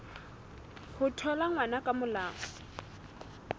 ho thola ngwana ka molao